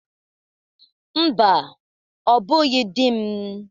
Mba, ọ bụghị di m.